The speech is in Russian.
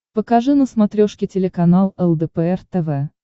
покажи на смотрешке телеканал лдпр тв